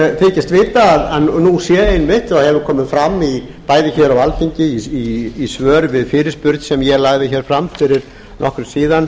ég þykist vita að nú sé einmitt og hefur komið fram bæði hér á alþingi í svörum við fyrirspurn sem ég lagði hér fram fyrir nokkru síðan